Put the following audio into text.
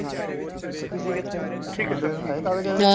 ਬਿੱਲੇ ਨੇ ਲਾਏ ਕਾਗਜ਼ ਉਦੇ।